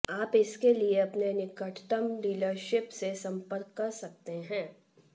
आप इसके लिए अपने निकटतम डीलरशिप से संपर्क कर सकते हैं